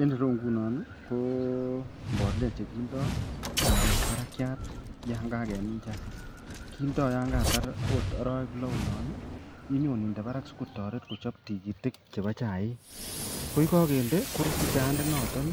En ireyu inginon ko mbolea chekindo chaik barakiat yangagemin chaik kindo okot yangakotar arawek lo olon inyon inde Barak sikotaret kochap tikitik chebo chaik akoyikakendee korutu chayat inoton